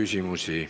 Ei ole.